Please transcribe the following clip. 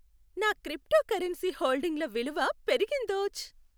నా క్రిప్టోకరెన్సీ హోల్డింగ్ల విలువ పెరిగిందోచ్!